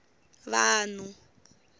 vanhu